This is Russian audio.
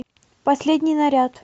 последний наряд